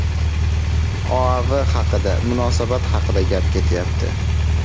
OAV haqida munosabat haqida gap ketyapti.